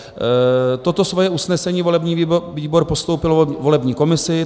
Toto svoje usnesení volební výbor postoupil volební komisi.